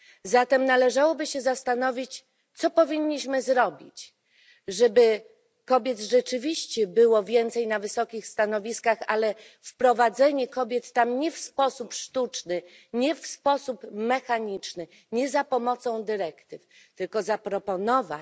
Zatem należałoby się zastanowić, co powinniśmy zrobić, żeby kobiet rzeczywiście było więcej na wysokich stanowiskach, ale nie, żeby wprowadzać tam kobiety w sposób sztuczny, nie w sposób mechaniczny, nie za pomocą dyrektyw, tylko zaproponować